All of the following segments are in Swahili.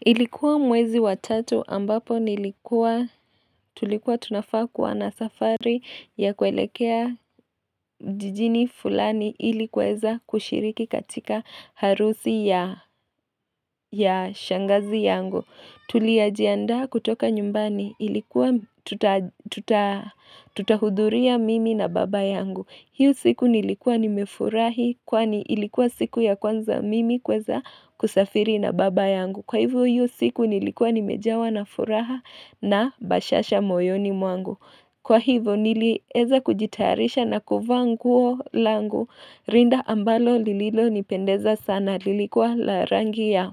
Ilikuwa mwezi wa tatu ambapo nilikuwa tulikuwa tunafaa kuwa na safari ya kwelekea jijini fulani ilikuweza kushiriki katika harusi ya ya shangazi yangu. Tuliajianda kutoka nyumbani ilikuwa tutahuduria mimi na baba yangu. Hiyo siku nilikuwa nimefurahi kwani ilikuwa siku ya kwanza mimi kuweza kusafiri na baba yangu. Kwa hivyo hiyo siku nilikuwa nimejawa na furaha na bashasha moyoni mwangu Kwa hivyo nilieza kujitayarisha na kuvaa nguo langu rinda ambalo lililo nipendeza sana lilikuwa la rangi ya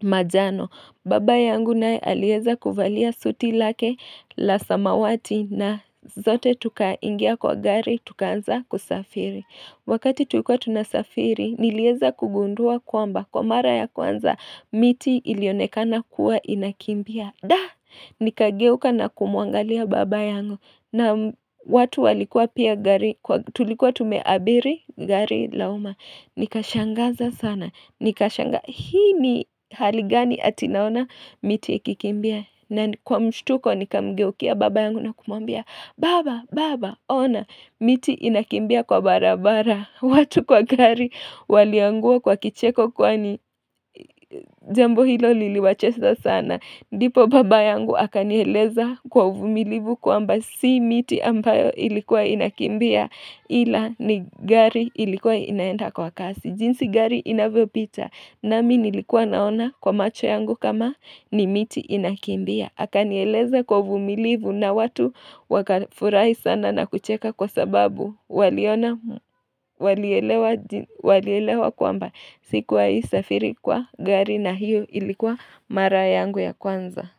majano Baba yangu naye aliweza kuvalia suti lake la samawati na zote tuka ingia kwa gari tukanza kusafiri Wakati tulikuwa tunasafiri, nilieza kugundua kwamba. Kwa mara ya kwanza, miti ilionekana kuwa inakimbia. Da, nikageuka na kumuangalia baba yangu. Na watu walikuwa pia gari, tulikuwa tumeabiri gari lauma. Nikashangaza sana. Nikashanga, hii ni haligani atinaona miti ikikimbia. Na kwa mshtuko ni kamgeukia baba yangu na kumwambia Baba! Baba! Ona miti inakimbia kwa barabara watu kwa gari waliangua kwa kicheko kwa ni jambo hilo liliwachesa sana ndipo baba yangu akanieleza kwa uvumilivu kwamba si miti ambayo ilikuwa inakimbia Ila ni gari ilikuwa inaenda kwa kasi jinsi gari inavyo pita nami nilikuwa naona kwa macho yangu kama ni miti inakimbia akanieleza kwa uvumilivu na watu wakafurahi sana na kucheka kwa sababu waliona waliele walielewa kwamba siku wahi safiri kwa gari na hiyo ilikuwa mara yangu ya kwanza.